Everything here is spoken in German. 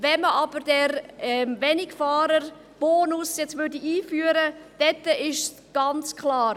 Wenn man aber nun den Wenigfahrerbonus einführte, wäre es ganz klar: